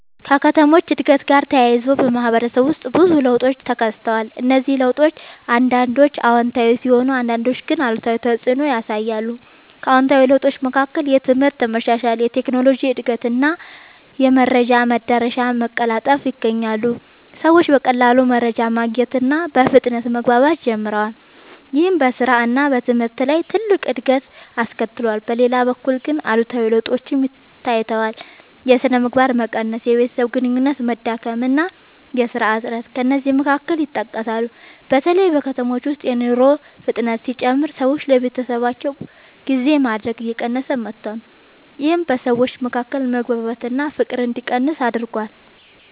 ከከተሞች እድገት ጋር ተያይዞ በማህበረሰብ ውስጥ ብዙ ለውጦች ተከስተዋል። እነዚህ ለውጦች አንዳንዶቹ አዎንታዊ ሲሆኑ አንዳንዶቹ ግን አሉታዊ ተፅዕኖ ያሳያሉ። ከአዎንታዊ ለውጦች መካከል የትምህርት መሻሻል፣ የቴክኖሎጂ እድገት እና የመረጃ መዳረሻ መቀላጠፍ ይገኛሉ። ሰዎች በቀላሉ መረጃ ማግኘት እና በፍጥነት መግባባት ጀምረዋል። ይህም በስራ እና በትምህርት ላይ ትልቅ እድገት አስከትሏል። በሌላ በኩል ግን አሉታዊ ለውጦችም ታይተዋል። የሥነ ምግባር መቀነስ፣ የቤተሰብ ግንኙነት መዳከም እና የሥራ እጥረት ከእነዚህ መካከል ይጠቀሳሉ። በተለይ በከተሞች ውስጥ የኑሮ ፍጥነት ሲጨምር ሰዎች ለቤተሰባቸው ጊዜ ማድረግ እየቀነሰ መጥቷል። ይህም በሰዎች መካከል መግባባት እና ፍቅር እንዲቀንስ አድርጓል።